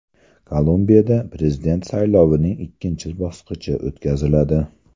Kolumbiyada prezident saylovining ikkinchi bosqichi o‘tkaziladi.